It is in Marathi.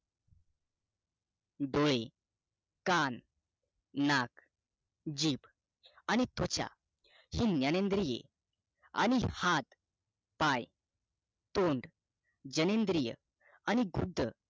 डोळे कान नाक जीभ आणि त्वचा हि ज्ञान इंद्रिये आणि हात पाय तोंड घ्यानेणदरीय आणि कृत